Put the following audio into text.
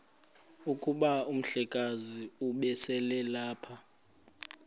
kuba umhlekazi ubeselelapha